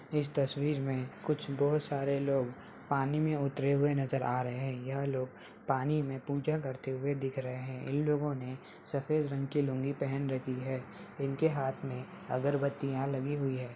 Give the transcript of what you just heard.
इस तस्वीर में कुछ बहुत सारे लोग पानी मे उतरे हुए नजर आ रहे है यह लोग पानी में पूजा करते हुए दिख रहे है इन लोगो ने सफेद रंग की लुंगी पहन रखी है इनके हाथ मे अगरबत्तियां लगी हुई है।